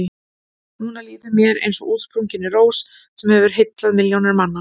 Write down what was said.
Núna líður mér eins og útsprunginni rós sem hefur heillað milljónir manna.